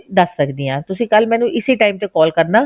ਦੱਸ ਸਕਦੀ ਹਾਂ ਤੁਸੀਂ ਕੱਲ ਮੈਨੂੰ ਇਸੀ time ਤੇ call ਕਰਨਾ